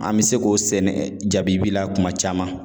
An bi se k'o sɛnɛ jabibi la kuma caman